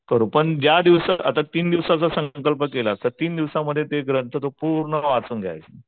कर पण आता ज्या दिवसाचा आता तीन दिवसाचा संकल्प केला तर तीन दिवसांध्ये तो ग्रंथ तो पूर्ण वाचून घ्यायचा.